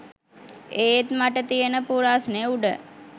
ඒත් මට තියන පුරස්නේ උඩ